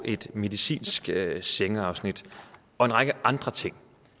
et medicinsk sengeafsnit og en række andre ting